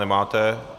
Nemáte.